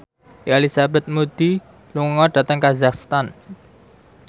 Elizabeth Moody lunga dhateng kazakhstan